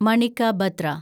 Manika Batra